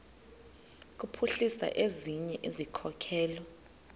kuphuhlisa ezinye izikhokelo